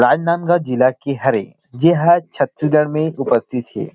राजनांदगांव जिला की हरे जे ह छत्तीसगढ़ में उपस्थित थे।